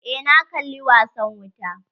Eh na kalla wasan wuta.